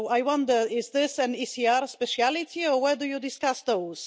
So I wonder is this an ECR speciality or whether you discuss those?